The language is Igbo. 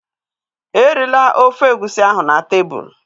Erila ofe Egusi ahụ na tebụl!